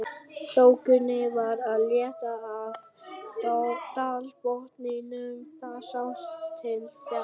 Þokunni var að létta af dalbotninum, það sást til fjalla.